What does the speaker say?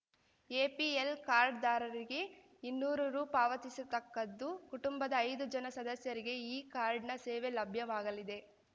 APL ಕಾರ್ಡ್‌ದಾರರಿಗೆ ಇನ್ನೂರು ರೂ ಪಾವತಿಸತಕ್ಕದ್ದು ಕುಟುಂಬದ ಐದು ಜನ ಸದಸ್ಯರಿಗೆ ಈ ಕಾರ್ಡ್‌ನ ಸೇವೆ ಲಭ್ಯವಾಗಲಿದೆ